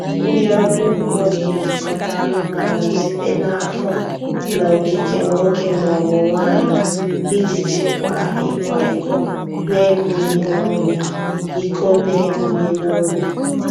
Ndị ọrụ ugbo na-ejikọta anụmanụ site na afọ na okike nwoke ma ọ bụ nwanyị iji chịkwaa ịkwa iko n'ebughị n'obi. iko n'ebughị n'obi.